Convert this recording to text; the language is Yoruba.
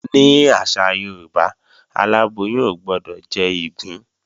Ní àṣà Yorùbá, aláboyún ò gbọdọ̀ jẹ́ ìgbín